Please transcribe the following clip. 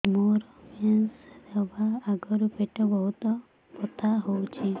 ମୋର ମେନ୍ସେସ ହବା ଆଗରୁ ପେଟ ବହୁତ ବଥା ହଉଚି